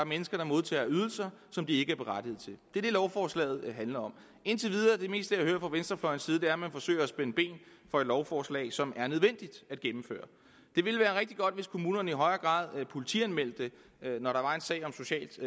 mennesker der modtager ydelser som de ikke er berettiget til det det lovforslaget handler om og indtil videre er det meste jeg hører fra venstrefløjens side at man forsøger at spænde ben for et lovforslag som er nødvendigt at gennemføre det ville være rigtig godt hvis kommunerne i højere grad politianmeldte det når der var en sag om socialt